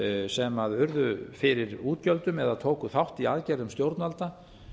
sem urðu fyrir útgjöldum eða tóku þátt í aðgerðum stjórnvalda